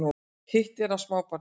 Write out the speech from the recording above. Hitt er af smábarni